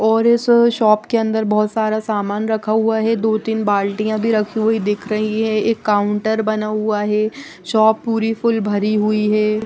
और इस शॉप के अंदर बहुत सारा सामान रखा हुआ है दो तीन बाल्टियां भी रखी हुई दिख रही है एक काउंटर बना हुआ है शॉप पूरी फुल भरी हुई है।